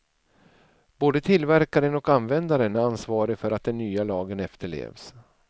Både tillverkaren och användaren är ansvarig för att den nya lagen efterlevs.